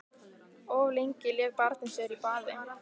Of lengi lék barnið sér í baði